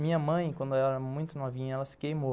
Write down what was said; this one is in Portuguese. Minha mãe, quando ela era muito novinha, ela se queimou.